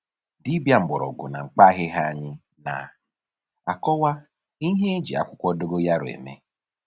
Dibịa mgbọrọgwụ na mkpa ahịhịa anyị na-akọwa ihe e ji akwụkwọ dogoyaro eme